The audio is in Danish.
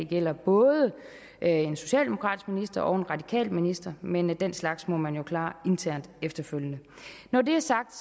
gælder både en socialdemokratisk minister og en radikal minister men den slags må man jo klare internt efterfølgende når det er sagt